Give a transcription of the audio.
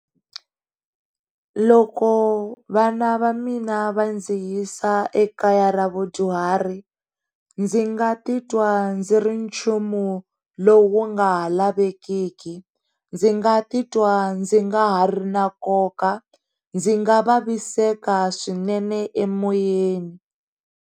Loko vana va mina va ndziyisa ekaya ra vadyuhari ndzi nga titwa ndzi ri nchumu lowu nga ha lavekeki, ndzi nga titwa ndzi nga ha ri na nkoka, ndzi nga vaviseka swinene emoyeni.